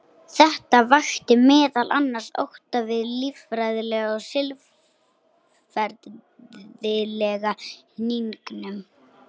Þetta vakti meðal annars ótta við líffræðilega og siðferðilega hnignun.